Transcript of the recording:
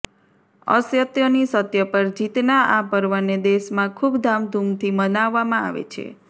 અસત્યની સત્ય પર જીતના આ પર્વને દેશમાં ખુબ ધૂમધામથી મનાવવામાં આવે છે